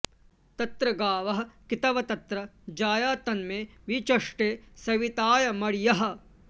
तत्र गावः कितव तत्र जाया तन्मे वि चष्टे सवितायमर्यः